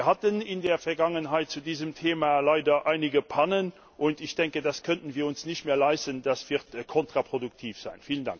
Wir hatten in der Vergangenheit zu diesem Thema leider einige Pannen. Ich denke, das können wir uns nicht mehr leisten, das wird kontraproduktiv sein.